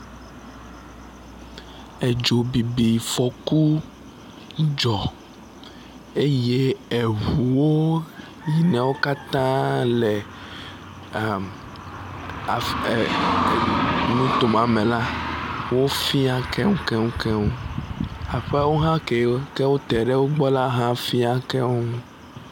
Edzobibifɔku dzɔ eye eŋuwo yi newo katã le em af em e e nuto ma me la wofia keŋukeŋukeŋu. Aƒewo hã kewo ke te ɖe wo ŋu la hã fia keŋukeŋu.